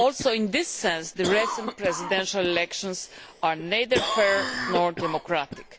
In the same way, the recent presidential elections are neither fair nor democratic.